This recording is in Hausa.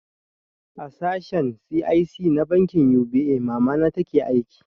A sashen C.I.S na bankin U.B.A mamana take aiki